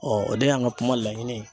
o de y'an ka kuma laɲini ye